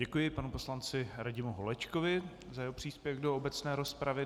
Děkuji panu poslanci Radimu Holečkovi za jeho příspěvek do obecné rozpravy.